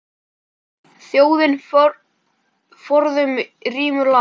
Þjóðin forðum rímur las.